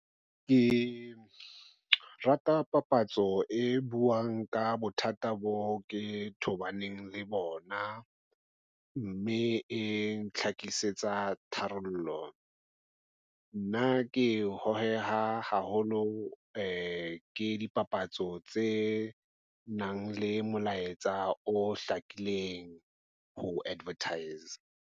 Ke rata papatso e buang ka bothata bo ke tobaneng le bona mme e ntlhakisetsa tharollo. Nna ke ho he ha haholo ke dipapatso tse nang le molaetsa o hlakileng ho advertise-a.